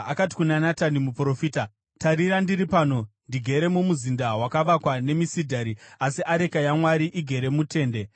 akati kuna Natani muprofita, “Tarira ndiri pano ndigere mumuzinda wakavakwa nemisidhari, asi areka yaMwari igere mutende.”